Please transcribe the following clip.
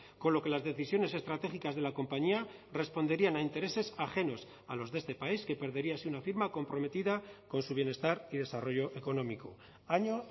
con lo que las decisiones estratégicas de la compañía responderían a intereses ajenos a los de este país que perdería así una firma comprometida con su bienestar y desarrollo económico año